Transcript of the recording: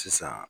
Sisan